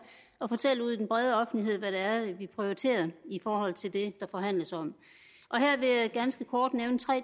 og fortælle ud til den brede offentlighed hvad det er vi prioriterer i forhold til det der forhandles om her vil jeg ganske kort nævne tre